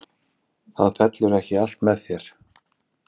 Það fellur ekki allt með þér.